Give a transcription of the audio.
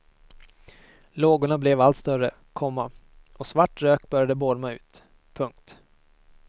Lågorna blev allt större, komma och svart rök började bolma ut. punkt